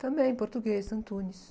Também, português, Antunes.